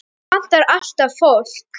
Hér vantar alltaf fólk.